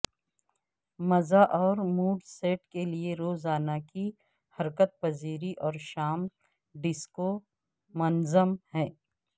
مزہ اور mood set کے لئے روزانہ کی حرکت پذیری اور شام ڈسکو منظم ہے